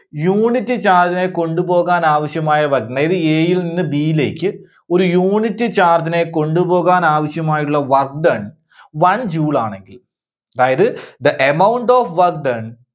unit charge നെ കൊണ്ട് പോകാൻ ആവശ്യമായ work maybe A യിൽ നിന്ന് B യിലേക്ക് ഒരു unit charge നെ കൊണ്ടുപോകാൻ ആവശ്യമായിട്ടുള്ള work done, one joule ആണെങ്കിൽ അതായത് the amount of work done